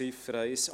Ziffer 1: